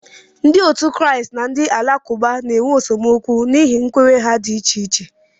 Ndị Kraịst na ndị Alakụba na-enwe esemokwu n'ihi nkwenye ha dị iche iche